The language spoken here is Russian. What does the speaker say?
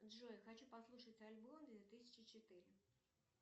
джой хочу послушать альбом две тысячи четыре